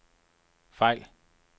fejl